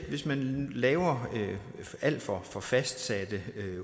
hvis man laver alt for for fastsatte